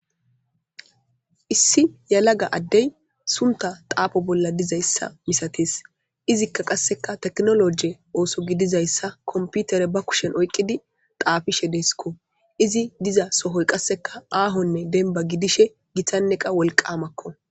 issi yalaga addey sunta taafo bolla dizayssa misates izikka qasseka teknoloje ooso gidizayssa komputere ba kushen oyqqidi taafishe deskko izi diza sohoy qasseka aahonne denba gidishe gitanneqa wolqamakko